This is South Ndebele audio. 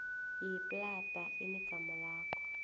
yeplada enegama lakho